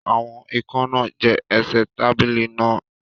Àwọn ikán náà jẹ ẹsẹ̀ tábìlì náà